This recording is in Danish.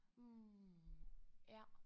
Hm ja